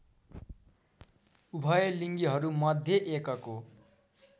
उभयलिङ्गीहरूमध्ये एकको